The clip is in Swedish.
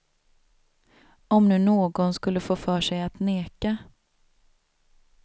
Om nu någon skulle få för sig att neka.